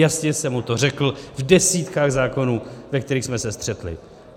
Jasně jsem mu to řekl v desítkách zákonů, ve kterých jsme se střetli.